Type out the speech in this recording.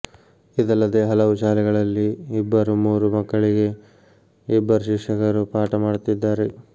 ಇದಲ್ಲದೇ ಹಲವು ಶಾಲೆಗಳಲ್ಲಿ ಇಬ್ಬರು ಮೂರು ಮಕ್ಕಳಿಗೆ ಇಬ್ಬರು ಶಿಕ್ಷಕರು ಪಾಠ ಮಾಡುತ್ತಿದ್ದಾರೆ